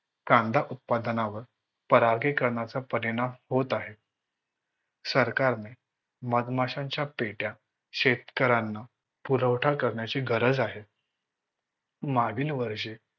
कांदा उत्पादनावर परागीकरणाचा परिणाम होत आहे. सरकारने मधमाशांच्या पेट्या शेतकऱ्यांना पुरवठा करण्याची गरज आहे. मागील वर्षी